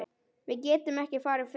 Við getum ekki farið fyrr.